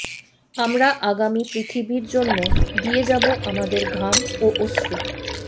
আমরা আগামী পৃথিবীর জন্য দিয়ে যাবো আমাদের ঘাম ও অশ্রু